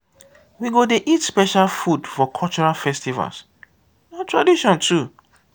we go dey eat special food for cultural festivals na tradition too.